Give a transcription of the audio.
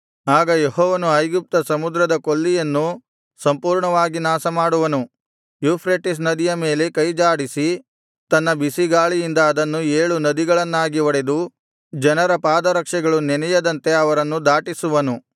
ಆಗ ಯೆಹೋವನು ಐಗುಪ್ತ ಸಮುದ್ರದ ಕೊಲ್ಲಿಯನ್ನು ಸಂಪೂರ್ಣವಾಗಿ ನಾಶಮಾಡುವನು ಯೂಫ್ರೆಟಿಸ್ ನದಿಯ ಮೇಲೆ ಕೈ ಜಾಡಿಸಿ ತನ್ನ ಬಿಸಿಗಾಳಿಯಿಂದ ಅದನ್ನು ಏಳು ನದಿಗಳನ್ನಾಗಿ ಒಡೆದು ಜನರ ಪಾದರಕ್ಷೆಗಳು ನೆನೆಯದಂತೆ ಅವರನ್ನು ದಾಟಿಸುವನು